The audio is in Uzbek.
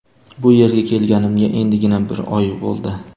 Bu yerga kelganimga endigina bir oy bo‘ldi.